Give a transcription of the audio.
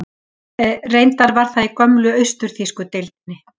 Reyndar var það í gömlu austur-þýsku deildinni.